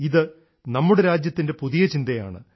ഇത് നമ്മുടെ രാജ്യത്തിൻറെ പുതിയ ചിന്തയാണ്